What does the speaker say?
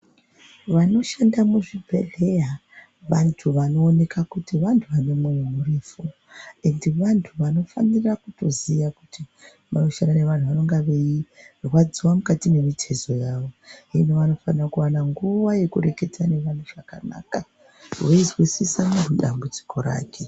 Vanoshanda muzvibhedhleya vantu vanooneka kuti vantu vane mwoyo murefu ende vantu vanofanira kutoziya kuti munoshande vantu vanenga veirwadziwa mukati mwemitezo yawo hino vanofana kuwana nguwa yekurekedzana nevantu zvakanaka veizwisisa neu dambudziko rake.